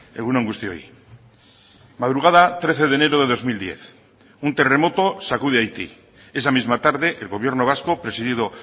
egun on guztioi madrugada trece de enero de dos mil diez un terremoto sacude haití esa misma tarde el gobierno vasco presidido